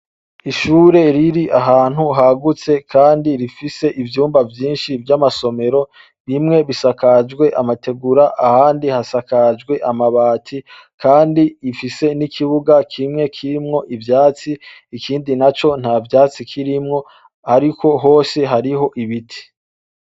Ishure riri ahantu hagutse kandi rifise ivyumba vyinshi vy'amasomero, bimwe bisakajwe amategura, ahandi hasakajwe amabati, kandi rifise n'ikibuga kimwe kirimwo ivyatsi, ikindi naco nta vyatsi kirimwo, ariko hose hariho ibiti.